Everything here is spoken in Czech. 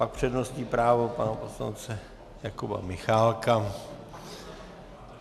Pak přednostní právo pana poslance Jakuba Michálka.